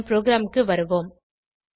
நம் ப்ரோகிராமுக்கு வருவோம்